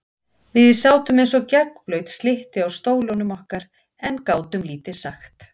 Við sátum eins og gegnblaut slytti á stólunum okkar en gátum lítið sagt.